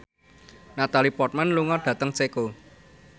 Natalie Portman lunga dhateng Ceko